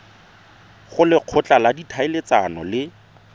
go lekgotla la ditlhaeletsano le